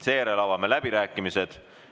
Seejärel avame läbirääkimised.